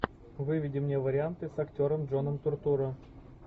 выведи мне варианты с актером джоном туртурро